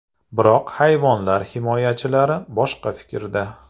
Biroq hayvonlar himoyachilari boshqa fikrda.